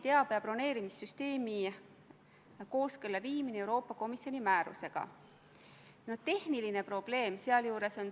Tahan teilt küsida, kas te olete kursis Mali režiimi toimepandud sõjakuritegudega ja etnilise puhastusega Mali põhjaosas.